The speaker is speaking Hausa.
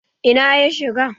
Ina ya shiga?